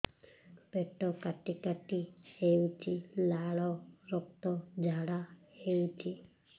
ପେଟ କାଟି କାଟି ହେଉଛି ଲାଳ ରକ୍ତ ଝାଡା ହେଉଛି